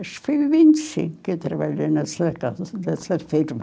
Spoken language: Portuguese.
Acho que foi em vinte e cinco que eu trabalhei nessa casa, nessa firma.